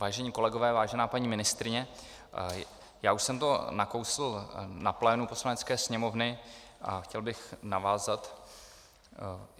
Vážení kolegové, vážená paní ministryně, já už jsem to nakousl na plénu Poslanecké sněmovny a chtěl bych navázat.